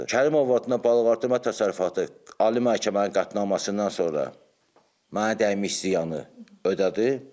Kərimov adına balıqartırma təsərrüfatı ali məhkəmənin qətnaməsindən sonra mənə dəymiş ziyanı ödədi.